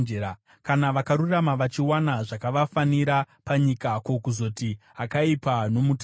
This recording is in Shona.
Kana vakarurama vachiwana zvakavafanira panyika, ko, kuzoti akaipa nomutadzi!